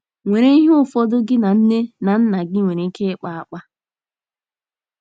nwere ihe ụfọdụ gị na nne na nna gị nwere ike ịkpa akpa.